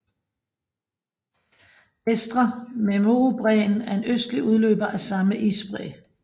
Vestre Memurubræen er en østlig udløber af samme isbræ